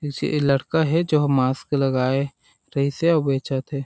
ऐसे ए लड़का हे जो मास्क लगाए रहीस हे और बेंचत हे।